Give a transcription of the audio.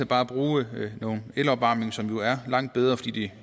bare at bruge elopvarmning som jo er langt bedre fordi